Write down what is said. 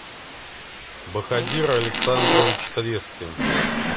бахадир александрович трескин